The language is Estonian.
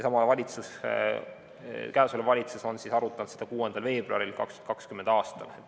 Ametisolev valitsus arutas seda 6. veebruaril 2020. aastal.